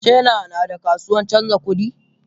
China nada kasuwan canja kudi?